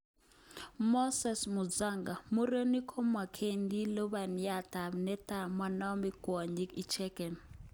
Moses Musonga:Murenik komagenki lubaniat tab kinet monome kwonyik icheken.